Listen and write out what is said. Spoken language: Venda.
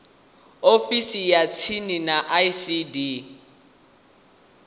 ofisini ya tsini ya icd